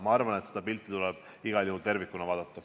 Ma arvan, et seda pilti tuleb igal juhul tervikuna vaadata.